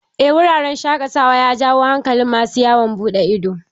Eh wuraren shaƙatawa ya jawo hankalin masu yawon buɗe ido